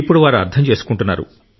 ఇప్పుడు వారు అర్థం చేసుకుంటున్నారు